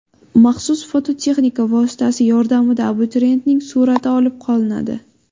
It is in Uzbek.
Maxsus foto-texnika vositasi yordamida abituriyentning surati olib qolinadi.